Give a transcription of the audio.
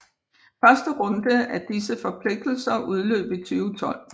Første runde af disse forpligtelser udløb 2012